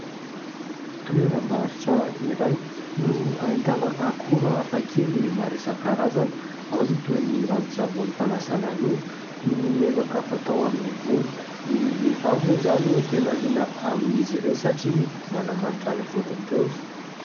Toeram-barotra iray no ahitana akora hafa kely maro isan-karazany. Ao ny toy ny ranon-tsavony fanasana loha, ny menaka fatao amin'ny volo. Ny vehivavy moa izany no tena liana amin'izy ireo satria manamanitra ny volony ireo.